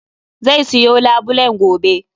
Zai siyo labulen gobe.